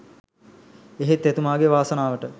එහෙත් එතුමාගේ වාසනාවට